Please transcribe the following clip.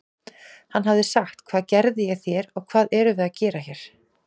Hann hafi sagt: Hvað gerði ég þér og hvað erum við að gera hér?